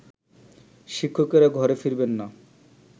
শিক্ষকেরা ঘরে ফিরবেন না